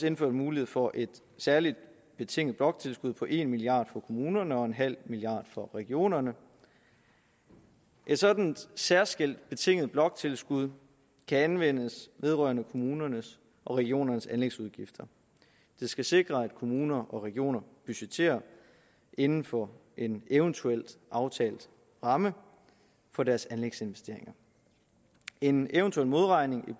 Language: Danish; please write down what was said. indført mulighed for et særligt betinget bloktilskud på en milliard kroner for kommunerne og en halv milliard for regionerne et sådant særskilt betinget bloktilskud kan anvendes vedrørende kommunernes og regionernes anlægsudgifter det skal sikre at kommuner og regioner budgetterer inden for en eventuelt aftalt ramme for deres anlægsinvesteringer en eventuel modregning i